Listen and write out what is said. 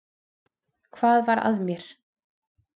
Hvað var að mér!